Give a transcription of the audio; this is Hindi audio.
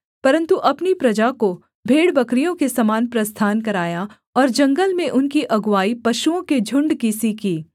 परन्तु अपनी प्रजा को भेड़बकरियों के समान प्रस्थान कराया और जंगल में उनकी अगुआई पशुओं के झुण्ड की सी की